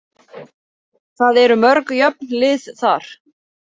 Það eru mörg jöfn lið þar.